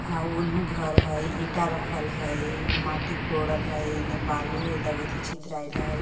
आव ओनहु घर हइ ईंटा रखल हइ माटी कोड़ल हइ एने बालू हइ लगै लगैत हइ छितरैल हइ ।